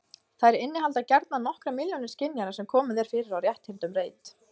Þær innihalda gjarnan nokkrar milljónir skynjara sem komið er fyrir á rétthyrndum reit.